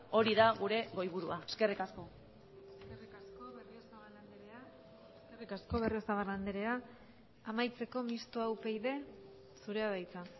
hori da gure goiburua eskerrik asko eskerrik asko berriozabal andrea amaitzeko mistoa upyd zurea da hitza